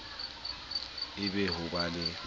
e be ho ba la